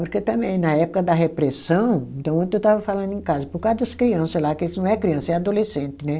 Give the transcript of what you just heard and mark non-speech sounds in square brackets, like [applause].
[unintelligible] Também. Na época da repressão, então ontem eu estava falando em casa, por causa das criança lá, que eles não é criança, é adolescente, né?